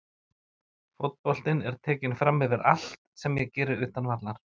Fótboltinn er tekinn framyfir allt sem ég geri utan vallar.